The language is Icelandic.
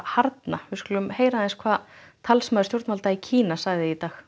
harðari við skulum heyra hvað talsmaður stjórnvalda í Kína sagði í dag